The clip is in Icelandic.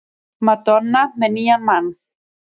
Madonna með nýjan mann